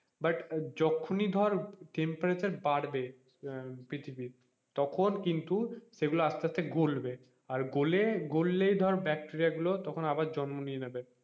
but যখনি ধর temperature বাড়বে হম পৃথিবীর তখন কিন্তু সেগুলো আস্তে আস্তে গলবে আর গলে গললে ধর bacteria গুলো ধর তখন আবার জন্ম নিয়ে নেবে,